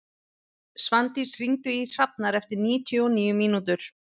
Svandís, hringdu í Hrafnar eftir níutíu og níu mínútur.